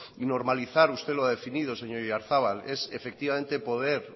normalizar usted lo ha definido señor oyarzabal es poder